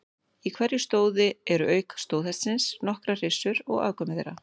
Í hverju stóði eru auk stóðhestsins nokkrar hryssur og afkvæmi þeirra.